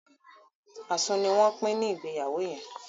asun ní wón Pin ní Ìgbéyàwó yén.